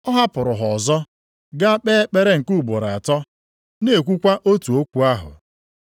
Ọ hapụrụ ha ọzọ gaa kpee ekpere nke ugboro atọ, na-ekwukwa otu okwu ahụ.